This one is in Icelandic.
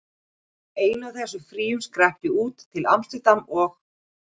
Í einu af þessum fríum skrapp ég út, til amsterdam og